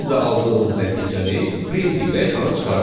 Biz də aldığımız nəticəni print ilə ekrana çıxarırıq.